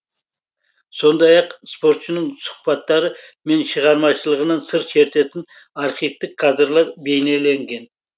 сондай ақ спортшының сұхбаттары мен шығармашылығынан сыр шертетін архивтік кадрлар бейнеленген